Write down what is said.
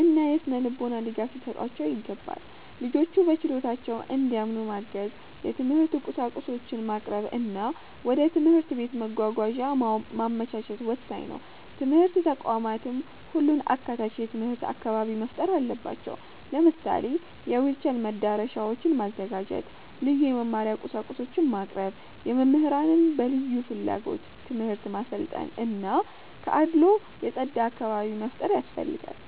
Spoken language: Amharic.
እና የሥነ-ልቦና ድጋፍ ሊሰጧቸው ይገባል። ልጆቹ በችሎታቸው እንዲያምኑ ማገዝ፣ የትምህርት ቁሳቁሶችን ማቅረብ እና ወደ ትምህርት ቤት መጓጓዣ ማመቻቸት ወሳኝ ነው። ትምህርት ተቋማትም ሁሉን አካታች የትምህርት አካባቢ መፍጠር አለባቸው። ለምሳሌ የዊልቸር መዳረሻዎችን ማዘጋጀት፣ ልዩ የመማሪያ ቁሳቁሶችን ማቅረብ፣ መምህራንን በልዩ ፍላጎት ትምህርት ማሰልጠን እና ከአድልዎ የጸዳ አካባቢ መፍጠር ያስፈልጋል።